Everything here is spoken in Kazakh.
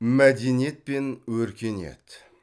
мәдениет пен өркениет